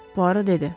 Puaro dedi.